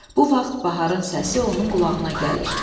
Bu vaxt Baharın səsi onun qulağına gəlir.